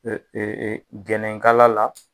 Jɛnɛkala la